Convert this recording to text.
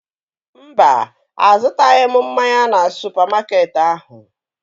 Mba, azụtaghị m mmanya na supamakeetị ahụ